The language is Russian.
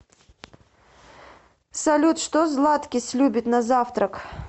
салют что златкис любит на завтрак